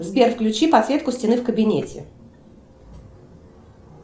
сбер включи подсветку стены в кабинете